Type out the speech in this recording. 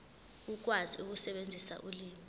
ukwazi ukusebenzisa ulimi